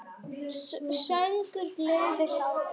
Söngur, gleði, hlátur.